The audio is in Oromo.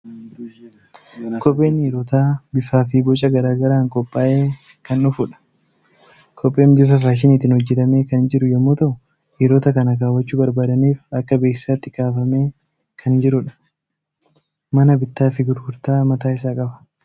Kopheen dhiirotaa bifaa fi boca gara garaan qophaa'ee kan dhufudha. Kopheen bifa faashiniitiin hojjetamee kan jiru yommuu ta'u, dhiirota kana kaawwachuu barbaadaniif akka beeksisaatti kaafamee kan jirudha. Mana bittaa fi gurgurtaa mataa isaa qaba.